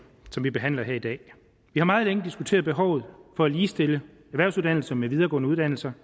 som vi behandler her i dag vi har meget længe diskuteret behovet for at ligestille erhvervsuddannelser med videregående uddannelser